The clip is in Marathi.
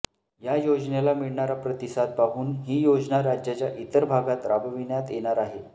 या योजनेला मिळणारा प्रतिसाद पाहून ही योजना राज्याच्या इतर भागात राबविण्यात येणार आहे